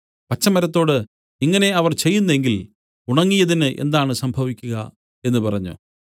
പച്ചമരത്തോട് ഇങ്ങനെ അവർ ചെയ്യുന്നെങ്കിൽ ഉണങ്ങിയതിന് എന്താണ് സംഭവിക്കുക എന്നു പറഞ്ഞു